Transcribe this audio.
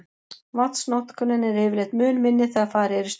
Vatnsnotkunin er yfirleitt mun minni þegar farið er í sturtu.